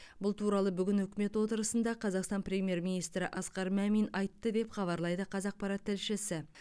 бұл туралы бүгін үкімет отырысында қазақстан премьер министрі асқар мамин айтты деп хабарлайды қазақпарат тілшісі